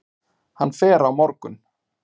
Hann fer á morgun.